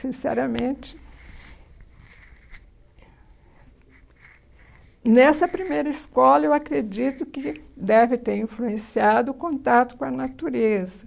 Sinceramente, nessa primeira escola, eu acredito que deve ter influenciado o contato com a natureza.